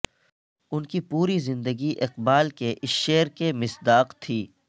ان کی پوری زندگی اقبال کے اس شعر کے مصداق تھی